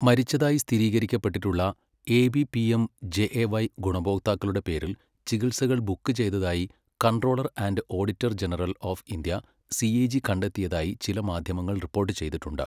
മരിച്ചതായി സ്ഥിരീകരിക്കപ്പെട്ടിട്ടുള്ള AB PM JAY ഗുണഭോക്താക്കളുടെ പേരിൽ ചികിത്സകൾ ബുക്ക് ചെയ്തതായി controller and auditor general of India CAG കണ്ടെത്തിയതായി ചില മാധ്യമങ്ങൾ റിപ്പോർട്ട് ചെയ്തിട്ടുണ്ട്.